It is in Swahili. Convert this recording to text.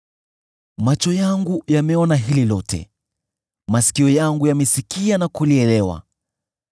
“Macho yangu yameona hili lote, masikio yangu yamesikia na kulielewa.